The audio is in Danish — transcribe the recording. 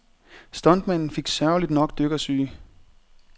Stuntmanden fik sørgeligt nok dykkersyge.